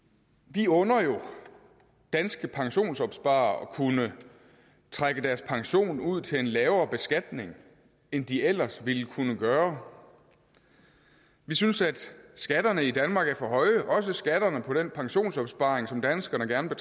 vi under jo danske pensionsopsparere at kunne trække deres pension ud til en lavere beskatning end de ellers ville kunne gøre vi synes at skatterne i danmark er for høje også skatterne på den pensionsopsparing som danskerne gerne